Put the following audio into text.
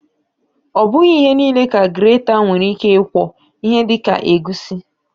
Ọbụghị ihe niile ka greta nwere ike ịkwọ, ihe dịka egusi